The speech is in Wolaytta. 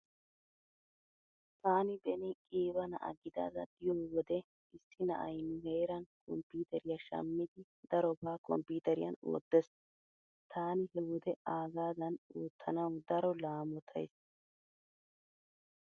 Taani beni qiiba na'a gidada diyo wode issi na'ay nu heeran komppiiteriya shammidi darobaa komppiiteriyan oottees. Taani he wode aagaadan oottanawu daro laamottays .